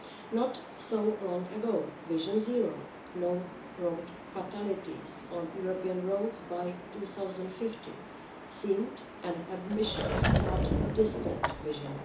Not so long ago, Vision Zero no road fatalities on European roads by 2050 seemed an ambitious but distant vision.